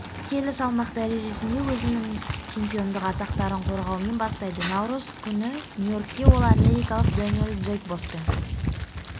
келі салмақ дәрежесінде өзінің чемпиондық атақтарын қорғаумен бастайды наурыз күні нью-йоркте ол америкалық дэниэл джейкбоспен